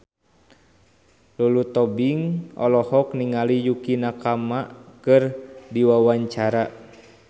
Lulu Tobing olohok ningali Yukie Nakama keur diwawancara